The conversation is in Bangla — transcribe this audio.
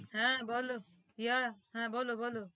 হা বোলো yeah হা বোলো বোলো